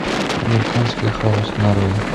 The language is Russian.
американский хаос нарой